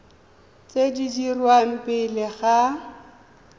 tse di dirwang pele ga